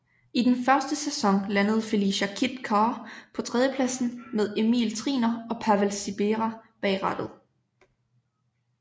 I den første sæson landede Felicia Kit Car på tredjepladsen med Emil Triner og Pavel Sibera bag rattet